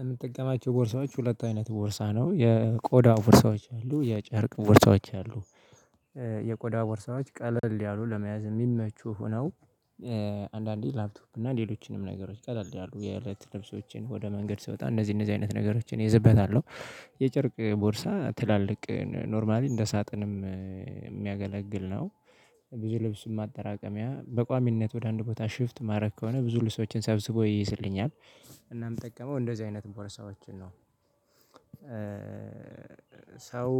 የምትጠቀማቸው ቦርሳዎች ሁለት አይነት ቦርሳ ነው የቆዳ ቦርሳዎች አሉ የጨርቅ ቦርሳዎች አሉ የቆዳ ቦርሳዎች ቀለል ያሉ ለመያዝ የሚመቹ ሆነው። አንዳንዴ ላፕቶፕ እና ሌሎችንም ነገሮች ቀለልድ ያሉ የእለት ልብሶችን ወደ መንገድ ስወጣ እነዚህ እነዚህ አይነት ነገሮችን ይዘበታሉ የጨርቅ ቦርሳ ትላልቅ ኖርማሊ እንደ ሳጥንም የሚያገለግል ነው። ብዙ ልብስ ማጠራቀሚያ በቋሚነት ወደ አንድ ቦታ ሽፍት ማድረግ ከሆነ ብዙ ልፍሶችንል ሰዎችን ሳብስቦ ይይዝልኛል። እናም የምጠቀመው እንደዚህ አይነት ቦርሳዎችን ነው። ሰው